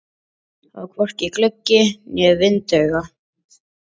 Þarna var hvorki gluggi né vindauga.